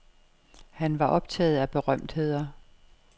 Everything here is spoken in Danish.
Han var optaget af berømtheder.